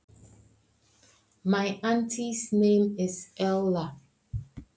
Frænka mín heitir Erla.